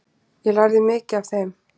Ég lærði mikið af þeim.